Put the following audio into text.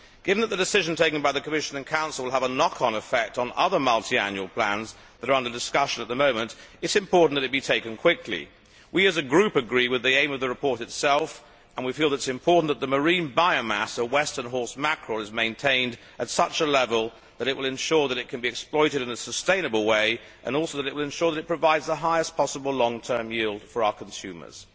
Given that the decision taken by the Commission and Council will have a knock on effect on other multiannual plans that are under discussion at the moment, it is important that it be taken quickly. We, as a Group, agree with the aim of the report itself and we feel that it is important that the marine biomass of western horse mackerel is maintained at a level that will ensure that it can be exploited in a sustainable way and that will also ensure that it provides the highest possible long term yield for our consumers.